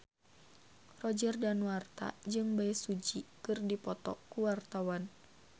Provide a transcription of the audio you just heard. Roger Danuarta jeung Bae Su Ji keur dipoto ku wartawan